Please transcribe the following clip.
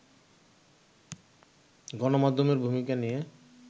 গণমাধ্যমের ভূমিকা নিয়ে